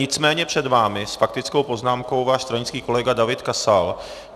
Nicméně před vámi s faktickou poznámkou váš stranický kolega David Kasal.